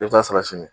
I bɛ taa sara sini